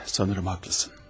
Sanırım haqlısan.